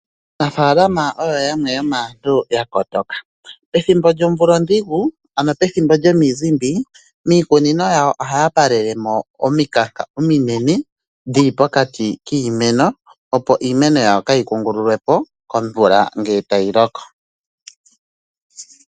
Aanafaalama oyo yamwe yomaantu ya kotoka. Pethimbo lyomvula ondhigu ano pethimbo lyomizimbi miikunino yawo ohaya palele mo omikanka ominene dhili pokati kiimeno opo iimeno yawo kaayi kungululwe po komvula ngele tayi loko.